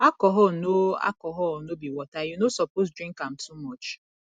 alcohol no alcohol no be water you no suppose drink am too much